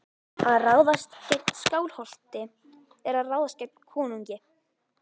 Að ráðast gegn Skálholti er að ráðast gegn konungi.